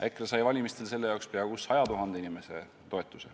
EKRE sai valimistel selle jaoks peaaegu 100 000 inimese toetuse.